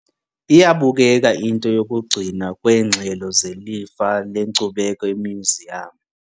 Iyabukeka into yokugcinwa kweengxelo zelifa lenkcubeko emyuziyamu.